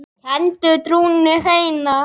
kenndi trúna hreina.